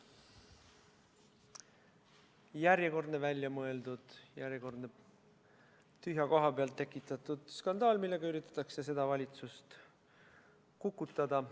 Järjekordne väljamõeldud, järjekordne tühja koha pealt tekitatud skandaal, millega üritatakse seda valitsust kukutada.